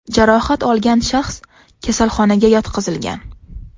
Jarohat olgan shaxs kasalxonaga yotqizilgan.